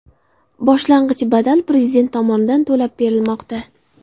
Boshlang‘ich badal Prezident tomonidan to‘lab berilmoqda.